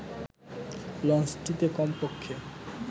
লঞ্চটিতে কমপক্ষে